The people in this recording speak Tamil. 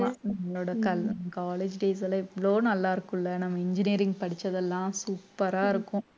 நம்மளோட col~ college days எல்லாம் இவ்வளோ நல்லா இருக்கும்ல நம்ம engineering படிச்சதெல்லாம் super ஆ இருக்கும்.